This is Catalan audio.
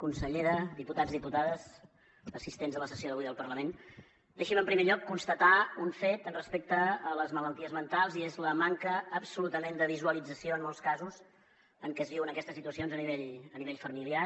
consellera diputats i diputades assistents a la sessió d’avui al parlament deixin me en primer lloc constatar un fet respecte a les malalties mentals i és la manca absolutament de visualització en molts casos en què es viuen aquestes situacions a nivell familiar